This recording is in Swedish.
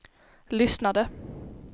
lyssnade